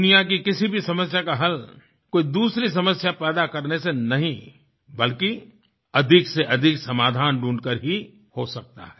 दुनिया की किसी भी समस्या का हल कोई दूसरी समस्या पैदा करने से नहीं बल्कि अधिकसेअधिक समाधान ढूँढकर ही हो सकता है